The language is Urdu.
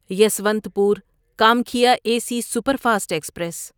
Yesvantpur Kamakhya A C superfast express